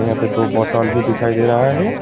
यहां पे दो बोतल भी दिखाई दे रहा है।